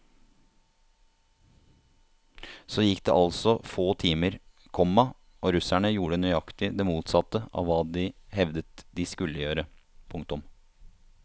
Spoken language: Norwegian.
Så gikk det altså få timer, komma og russerne gjorde nøyaktig det motsatte av hva de hevdet de skulle gjøre. punktum